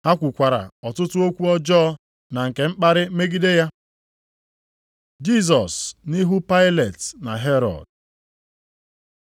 Ha kwukwara ọtụtụ okwu ọjọọ na nke mkparị megide ya. Jisọs nʼihu Pailet na Herọd